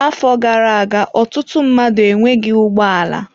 Afọ gara aga ọtụtụ mmadụ enweghị ụgbọ ala.